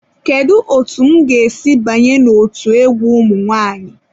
Kedu otu m ga-esi banye n'otu egwu ụmụ nwanyị?